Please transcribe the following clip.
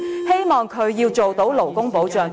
希望他做好勞工保障和......